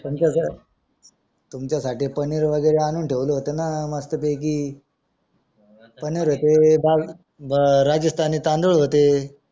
तुमच्या साठी पनीर मध्ये भी आणून ठेवला होता ना मस्त पैकी पनीर होते दाल राजस्थानी तांदूळ होते